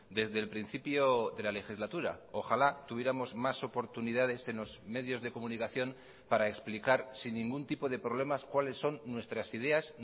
desde el principio de la legislatura ojalá tuviéramos más oportunidades en los medios de comunicación para explicar sin ningún tipo de problemas cuáles son nuestras ideas